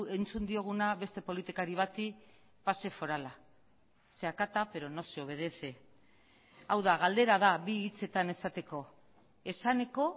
entzun dioguna beste politikari bati pase forala se acata pero no se obedece hau da galdera da bi hitzetan esateko esaneko